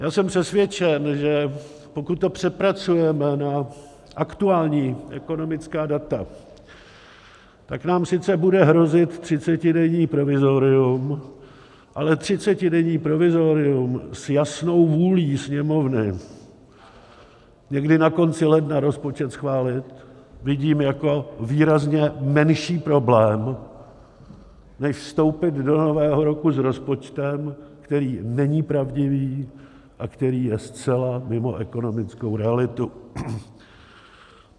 Já jsem přesvědčen, že pokud to přepracujeme na aktuální ekonomická data, tak nám sice bude hrozit třicetidenní provizorium, ale třicetidenní provizorium s jasnou vůlí Sněmovny někdy na konci ledna rozpočet schválit vidím jako výrazně menší problém než vstoupit do nového roku s rozpočtem, který není pravdivý a který je zcela mimo ekonomickou realitu.